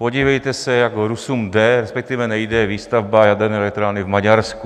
Podívejte se, jak Rusům jde, respektive nejde výstavba jaderné elektrárny v Maďarsku.